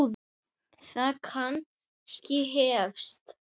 Það kannski hefst.